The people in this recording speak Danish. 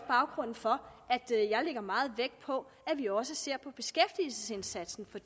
baggrunden for at jeg lægger meget vægt på at vi også ser på beskæftigelsesindsatsen for